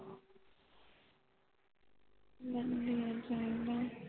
ਬਸ ਜੀ ਇਹ ਜੀ ਐਡਾ